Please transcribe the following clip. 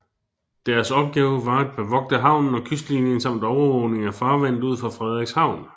Deres opgave var at bevogte havnen og kystlinien samt overvågning af farvandet ud for Frederikshavn